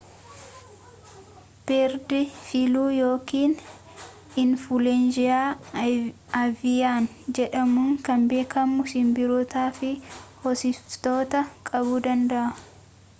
beerd filuu yookiin infuluweenza aviyaan jedhamuun kan beekamu sinbirrootaa fi hoosiftoota qabuu danda'a